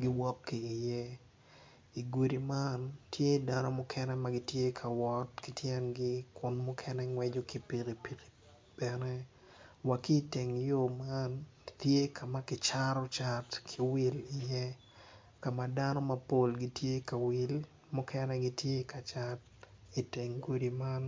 gowok ki iye i gudi man tye dano ma gitye ka wot ki tyengi kun mukene gingweco ki pikipiki wa ki iteng yo man tye ka ma ki cato cat ki wil iye ka ma ka ma dano mapol gitye ka wil mukene gitye ka cat iteng gudi man